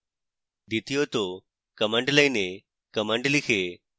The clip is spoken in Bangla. দ্বিতীয়ত command line এ commands লিখে